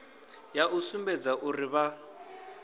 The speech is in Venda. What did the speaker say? ya u sumbedza uri vha